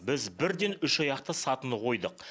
біз бірден үш аяқты сатыны қойдық